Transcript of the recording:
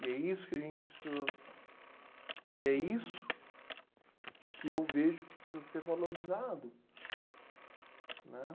E é isso que a gente precisa... E é isso que eu vejo que precisa ser valorizado, né?